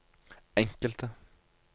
enkelte